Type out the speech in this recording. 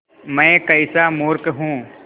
मैं कैसा मूर्ख हूँ